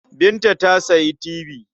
Binta ta sayi tibi.